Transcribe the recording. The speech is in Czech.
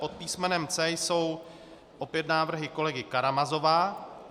Pod písmenem C jsou opět návrhy kolegy Karamazova.